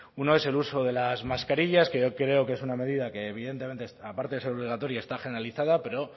uno es el uso de las mascarillas que yo creo que es una medida que evidentemente aparte de ser obligatoria está generalizada pero